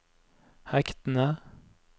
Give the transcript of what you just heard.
hektene